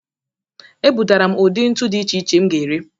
Ebutara m udị ntụ dị iche iche m ga-ere.